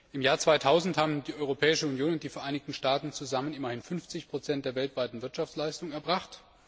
Im Jahr 2000 haben die Europäische Union und die Vereinigten Staaten zusammen immerhin 50 der weltweiten Wirtschaftsleistung erbracht.